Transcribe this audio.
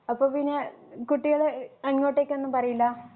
അപ്പോപ്പിന്നെ കുട്ടികള് അങ്ങോട്ടേക്കൊന്നും പറയില്ല